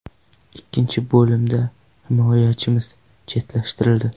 Ikkinchi bo‘limda himoyachimiz chetlashtirildi.